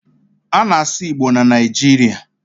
a na-asu Igbo na Naijiria